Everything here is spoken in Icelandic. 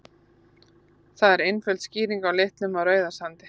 Það er einföld skýring á litnum á Rauðasandi.